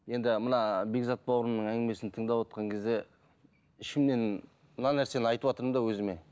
енді мына бекзат бауырымның әңгімесін тыңдап отырған кезде ішімнен мына нәрсені айтыватырмын да өзіме